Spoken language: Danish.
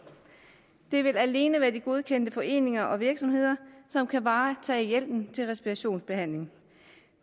det vil alene være de godkendte foreninger og virksomheder som kan varetage hjælpen til respirationsbehandling